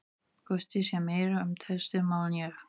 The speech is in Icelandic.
Gústi sér meira um þessi mál en ég.